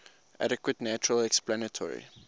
adequate natural explanatory